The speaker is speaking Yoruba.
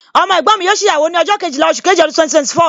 Ọmọ ẹ̀gbọ́n mi obìnrin yóò ṣe ìyàwó ní ọjọ́ Kejìlá oṣù keje ọdún 2024